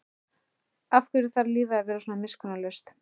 Af hverju þarf lífið að vera svona miskunnarlaust?